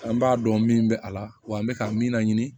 An b'a dɔn min bɛ a la wa an bɛ ka min laɲini